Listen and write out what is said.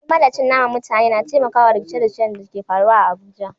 Gulma da cin naman mutane na taimaka wa rikice-rikicen da ke faruwa a Abuja.